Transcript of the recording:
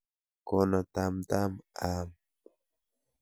Kona tam tam aam.